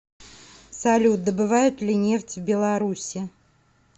салют добывают ли нефть в беларуси